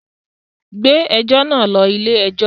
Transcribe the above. Gbé ẹjọ́ náà lọ ilé-ẹjọ́!